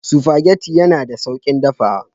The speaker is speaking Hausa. Spaghetti yana da sauƙin dafawa.